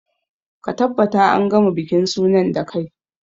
Ka tabbata an gama bikin sunan da kai!